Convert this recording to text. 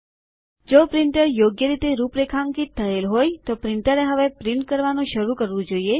જો પ્રિન્ટર યોગ્ય રીતે રૂપરેખાંકિત થયેલ હોય તો પ્રિન્ટરએ હવે છાપવાનું શરૂ કરવું જોઈએ